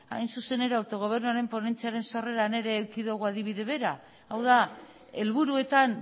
hain zuzen ere autogobernuaren ponentziaren sorreran ere eduki dugu adibide bera hau da helburuetan